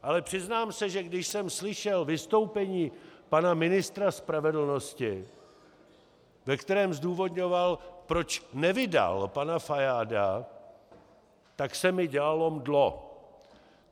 Ale přiznám se, že když jsem slyšel vystoupení pana ministra spravedlnosti, ve kterém zdůvodňoval, proč nevydal pana Fajáda, tak se mi dělalo mdlo.